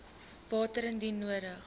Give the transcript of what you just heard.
water indien nodig